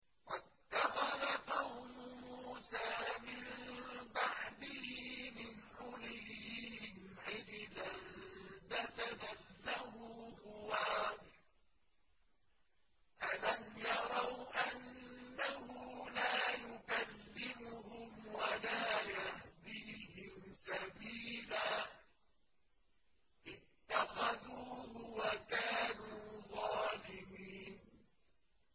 وَاتَّخَذَ قَوْمُ مُوسَىٰ مِن بَعْدِهِ مِنْ حُلِيِّهِمْ عِجْلًا جَسَدًا لَّهُ خُوَارٌ ۚ أَلَمْ يَرَوْا أَنَّهُ لَا يُكَلِّمُهُمْ وَلَا يَهْدِيهِمْ سَبِيلًا ۘ اتَّخَذُوهُ وَكَانُوا ظَالِمِينَ